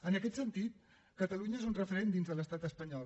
en aquest sentit catalunya és un referent dins de l’estat espanyol